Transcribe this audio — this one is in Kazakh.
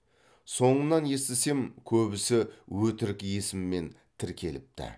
соңынан естісем көбісі өтірік есіммен тіркеліпті